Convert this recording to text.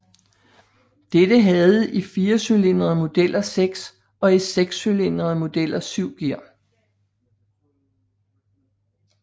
Dette havde i firecylindrede modeller seks og i sekscylindrede modeller syv gear